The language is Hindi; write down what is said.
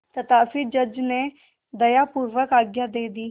तथापि जज ने दयापूर्वक आज्ञा दे दी